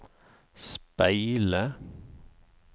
speile